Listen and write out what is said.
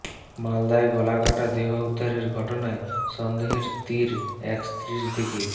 মালদায় গলাকাটা দেহ উদ্ধারের ঘটনায় সন্দেহের তির এক স্ত্রীর দিকেই